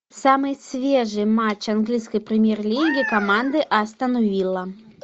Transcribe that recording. самый свежий матч английской премьер лиги команды астон вилла